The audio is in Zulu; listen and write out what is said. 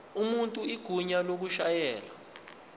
umuntu igunya lokushayela